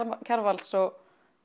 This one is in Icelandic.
Kjarvals og